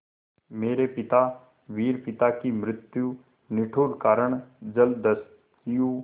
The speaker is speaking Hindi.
मेरे पिता वीर पिता की मृत्यु के निष्ठुर कारण जलदस्यु